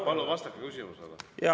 Palun vastake küsimusele!